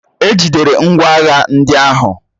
E jidere ngwá agha ndị ahụ